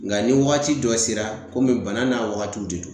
Nga ni wagati dɔ sera, bana n'a wagatiw de don.